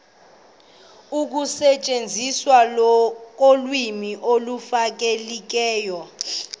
ekusetyenzisweni kolwimi olufanelekileyo